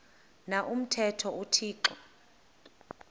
na umthetho uthixo